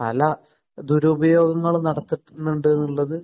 പല ദുരുപയോഗങ്ങളും നടത്തുന്നുണ്ട് എന്നുള്ളത്